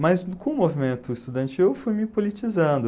Mas com o movimento estudantil eu fui me politizando.